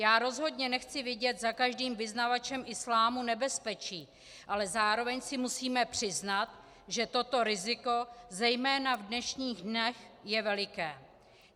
Já rozhodně nechci vidět za každým vyznavačem islámu nebezpečí, ale zároveň si musíme přiznat, že toto riziko zejména v dnešních dnech je veliké.